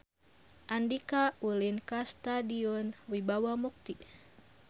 Andika ulin ka Stadion Wibawa Mukti